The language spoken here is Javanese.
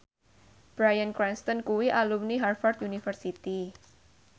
Bryan Cranston kuwi alumni Harvard university